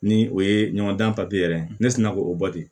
Ni o ye ɲɔgɔndan yɛrɛ ye ne sina k'o bɔ ten